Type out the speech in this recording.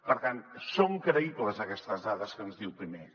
per tant són creïbles aquestes dades que ens diu pimec